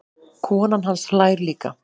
Konan hans hlær líka.